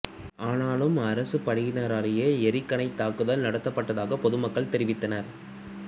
ஆனாலும் அரசுப் படையினராலேயே எறிகணைத் தாக்குதல் நடத்தப்பட்டதாக பொதுமக்கள் தெரிவித்தனர்